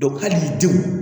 hali denw